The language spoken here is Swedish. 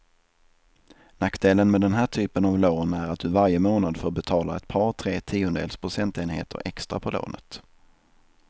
Nackdelen med den här typen av lån är att du varje månad får betala ett par, tre tiondels procentenheter extra på lånet.